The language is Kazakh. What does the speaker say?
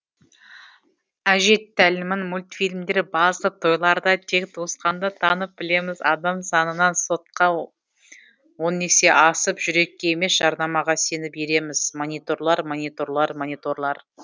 әже тәлімін мультфильмдер басып тойларда тек туысқанды танып білеміз адам санынан сотка он есе асып жүрекке емес жарнамаға сеніп ереміз мониторлар мониторлар мониторлар